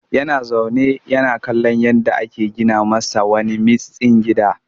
Yana zaune yana kallon yadda ake gina masa wani mitstsin gida